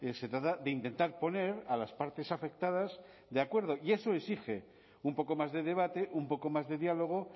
se trata de intentar poner a las partes afectadas de acuerdo y eso exige un poco más de debate un poco más de diálogo